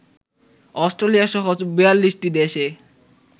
অস্ট্রেলিয়াসহ ৪২টি দেশে